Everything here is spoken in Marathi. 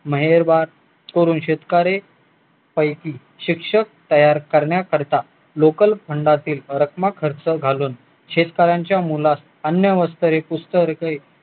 मेहेरबान करून शेतकरी पैकी शिक्षक तयार करण्याकरिता लोकल फंडातील रक्कम खर्च घालून शेतकऱ्याच्या मुलास अन्न वस्त्र